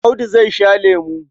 Audu zai sha lemo.